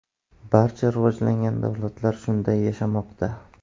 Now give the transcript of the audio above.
Barcha rivojlangan davlatlar shunday yashamoqda.